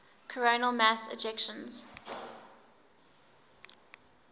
coronal mass ejections